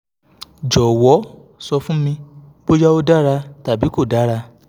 jọ̀wọ́ sọ fún mi bóyá ó dára tàbí kò dára